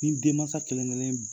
Ni denmasa kelen kelen b